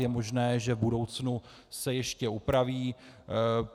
Je možné, že v budoucnu se ještě upraví.